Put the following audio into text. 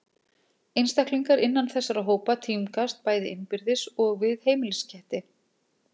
Einstaklingar innan þessara hópa tímgast bæði innbyrðis og við heimilisketti.